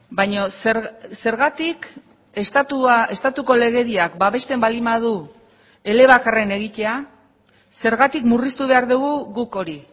baina zergatik estatuko legediak babesten baldin badu elebakarren egitea zergatik murriztu behar dugu guk hori